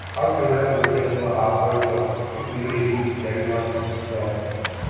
how children go take know our culture if we no do dis ceremony dem